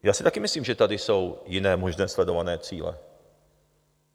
Já si taky myslím, že tady jsou jiné možné sledované cíle.